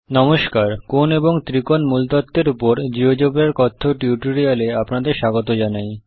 নমস্কার কোণ এবং ত্রিকোণ মূলতত্ব এর উপর জীয়োজেব্রার কথ্য টিউটোরিয়াল এ আপনাদের স্বাগত জানাই